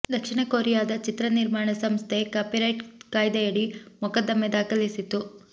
ದಕ್ಷಿಣ ಕೊರಿಯಾದ ಚಿತ್ರ ನಿರ್ಮಾಣ ಸಂಸ್ಥೆ ಕಾಪಿರೈಟ್ ಕಾಯ್ದೆಯಡಿ ಮೊಕದ್ದಮೆ ದಾಖಲಿಸಿತ್ತು